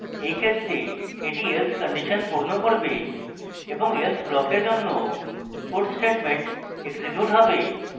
in ক্ষেত্রে এটি else condition পূর্ণ করবে এবং else ব্লকের মধ্যে puts statement এক্সিকিউট হবে